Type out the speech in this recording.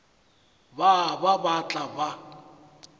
ba ba ba tla ba